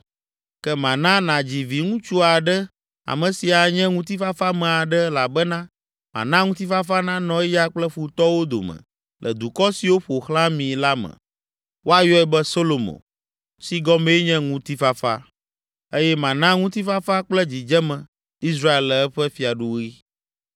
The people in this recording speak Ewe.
Ke mana nàdzi viŋutsu aɖe ame si anye ŋutifafame aɖe elabena mana ŋutifafa nanɔ eya kple futɔwo dome le dukɔ siwo ƒo xlã mi la me. Woayɔe be Solomo, si gɔmee nye, “Ŋutifafa” eye mana ŋutifafa kple dzidzeme Israel le eƒe fiaɖuɣi.